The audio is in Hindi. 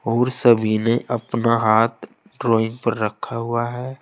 और सभी ने अपना हाथ ड्राइंग पर रखा हुआ है।